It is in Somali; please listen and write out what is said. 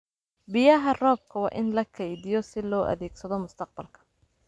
Biyaha roobka waa in la keydiyo si loo adeegsado mustaqbalka.